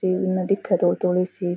reel में दिखे धोली धोली सी --